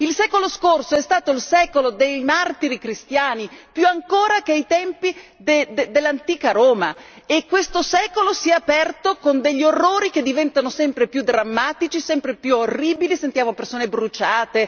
Il secolo scorso è stato il secolo dei martiri cristiani più ancora che ai tempi dell'antica Roma e questo secolo si è aperto con degli orrori che diventano sempre più drammatici, sempre più orribili, sentiamo persone bruciate.